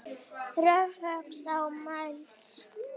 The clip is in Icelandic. Rökföst og mælsk.